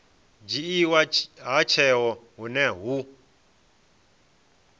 dzhiiwa ha tsheo hune hu